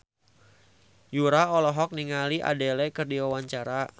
Yura olohok ningali Adele keur diwawancara